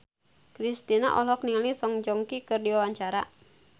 Kristina olohok ningali Song Joong Ki keur diwawancara